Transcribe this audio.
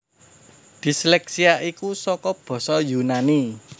Disleksia iku saka basa Yunani